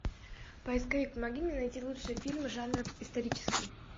поисковик помоги мне найти лучшие фильмы жанра исторический